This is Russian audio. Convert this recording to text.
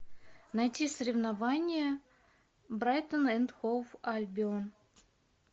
найти соревнования брайтон энд хоув альбион